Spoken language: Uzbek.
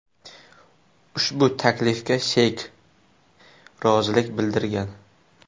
Ushbu taklifga Sheyk rozilik bildirgan.